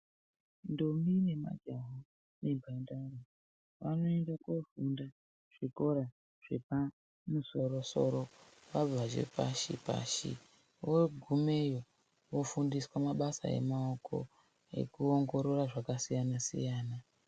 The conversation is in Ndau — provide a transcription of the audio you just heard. Ndombi nemajaha nemhandara vanoende kofunda kuzvikora zvepamusoro soro vabva zvepashi vogumeyo vofundiswa mabasa emaoko ekuongorora zvakasiyana siyana.